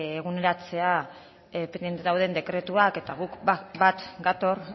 eguneratzea pendiente dauden dekretuak eta guk bat gatoz